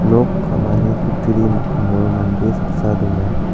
nok ka·mani kutturi mikango mande saksa donga.